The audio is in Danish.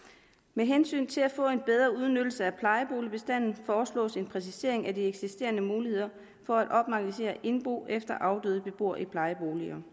med hensyn til at få en bedre udnyttelse af plejeboligbestanden foreslås en præcisering af de eksisterende muligheder for at opmagasinere indbo efter afdøde beboere i plejeboliger